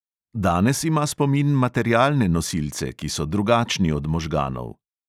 Danes ima spomin materialne nosilce, ki so drugačni od možganov.